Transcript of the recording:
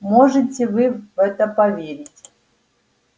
можете вы в это поверить